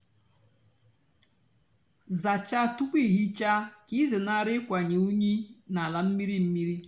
zácháá túpú ị hicha kà ịzénárị ịkwanye unyi n'álá mmírí mmírí.